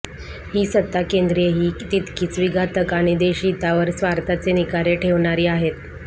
ही सत्ताकेंद्रेही तितकीच विघातक आणि देशहितावर स्वार्थाचे निखारे ठेवणारी आहेत